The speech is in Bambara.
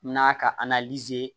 N'a ka